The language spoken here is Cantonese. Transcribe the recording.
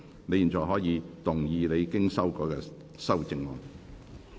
你現在可以動議你經修改的修正案。